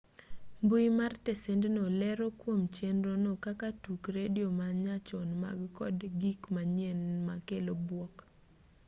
mbui mar tesendno lero kuom chenro no kaka tuk redio ma nyachon man kod gik manyien ma kelo buok